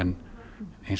hins